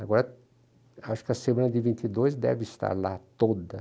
Agora, acho que a semana de vinte e dois deve estar lá toda.